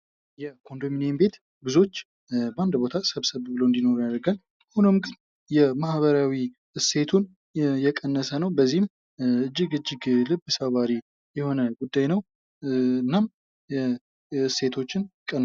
የኮንዶሚኒየም ቤት ብዙዎች አንድ ቦታ ስብሰብ ብለው እንዲኖረው ያደርጋል። ሆኖም ግን የማህበራዊ እሴቱ እየቀነሰ ነው። በዚህም እጅግ እጅግ ልብ ሰባሪ የሆነ ጉዳይ ነው። እናም እሴቶችን ቀንሷል።